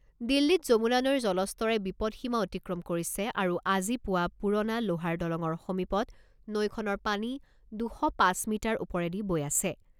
দিল্লীত যমুনা নৈৰ জলস্তৰে বিপদসীমা অতিক্ৰম কৰিছে আৰু আজি পুৱা পুৰণা লোহাৰ দলঙৰ সমীপত নৈখনৰ পানী দুশ পাঁচ মিটাৰ ওপৰেদি বৈ আছে।